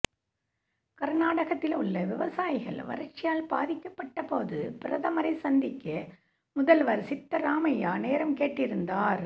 கர்நாடகத்தில் உள்ள விவசாயிகள் வறட்சியால் பாதிக்கப்பட்டபோது பிரதமரை சந்திக்க முதல்வர் சித்தராமையா நேரம் கேட்டிருந்தார்